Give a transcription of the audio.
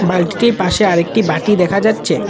বালটিটির পাশে আরেকটি বাটি দেখা যাচ্ছে।